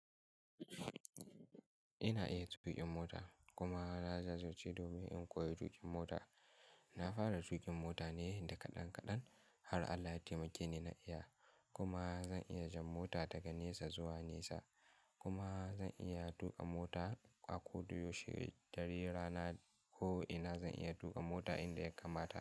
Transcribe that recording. Ina iya tuƙin mota kuma na zazace domin in koyi tuƙin mota. Na fara tuƙin mota ne da kaɗan kaɗan har Allah ya taimake ni na iya kuma zan iya jan mota daga nesa zuwa nesa kuma zan iya tuƙa mota a ko da yauushe ɗare rana ko'ina zan iya tuƙa mota inda ya kamata.